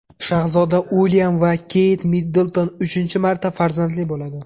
Shahzoda Uilyam va Keyt Middlton uchinchi marta farzandli bo‘ladi.